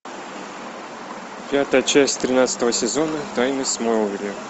пятая часть тринадцатого сезона тайны смолвиля